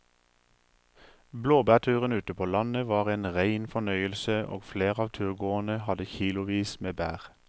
Blåbærturen ute på landet var en rein fornøyelse og flere av turgåerene hadde kilosvis med bær.